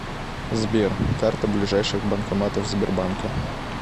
сбер карта ближайших банкоматов сбербанка